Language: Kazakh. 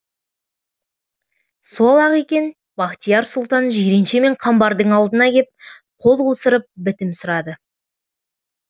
сол ақ екен бахтияр сұлтан жиренше мен қамбардың алдына кеп қол қусырып бітім сұрады